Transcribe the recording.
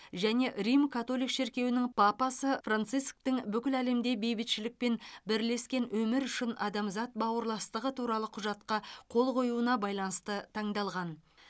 және рим католик шіркеуінің папасы францисктің бүкіл әлемде бейбітшілік пен бірлескен өмір үшін адамзат бауырластығы туралы құжатқа қол қоюына байланысты таңдалған